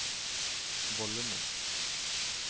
vollene